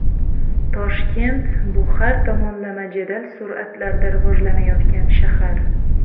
Toshkent bu har tomonlama jadal sur’atlarda rivojlanayotgan shahar.